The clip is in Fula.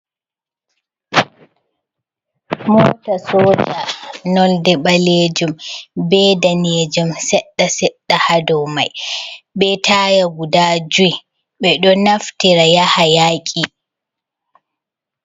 Mota soja nolɗe ɓalejum be danejum seɗɗa seɗɗa hado mai be taya guda jui ɓeɗo naftira yaha yaki.